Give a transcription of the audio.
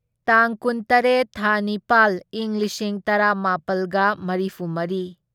ꯇꯥꯡ ꯀꯨꯟꯇꯔꯦꯠ ꯊꯥ ꯅꯤꯄꯥꯜ ꯢꯪ ꯂꯤꯁꯤꯡ ꯇꯔꯥꯃꯥꯄꯜꯒ ꯃꯔꯤꯐꯨꯃꯔꯤ